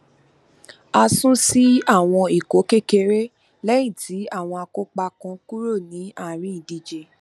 a sún sí àwọn ikọ kékeré lẹyìn tí àwọn akópa kan kúrò ní àárín ìdíje